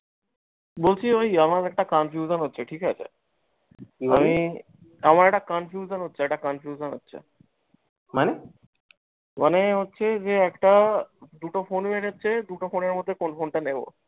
বলছি ঐ আমার একটা confusion হচ্ছে ঠিকাছে আমার একটা confusion হচ্ছে, একটা confusion হচ্ছে মানে হচ্ছে একটা, দুটো ফোনের হচ্ছে, দুটো ফোনের মধ্যে কোন phone টা নেব?